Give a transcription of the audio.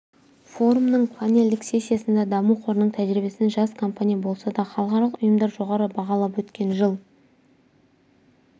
форумның панельдік сессиясында даму қорының тәжірибесін жас компания болса да халықаралық ұйымдар жоғары бағалады өткен жыл